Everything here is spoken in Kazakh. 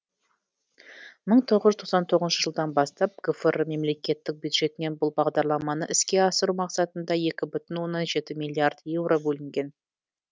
мың тоғыз жүз тоқсан тоғызыншы жылдан бастап гфр мемлекеттік бюджетінен бұл бағдарламаны іске асыру мақсатында екі бүтін оннан жеті миллиард еуро бөлінген